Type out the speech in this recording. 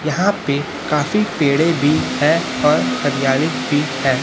यहाँ पे काफी पेड़े बी है और हरियाली बी हैं।